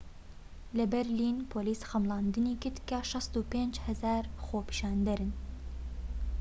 لە بەرلین پۆلیس خەمڵاندنی کرد کە ٦٥٠٠ خۆپیشاندەرن